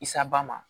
Isaba ma